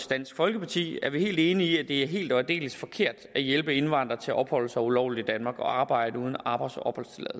dansk folkeparti er vi helt enige i at det er helt og aldeles forkert at hjælpe indvandrere til at opholde sig ulovligt i danmark og arbejde uden arbejds og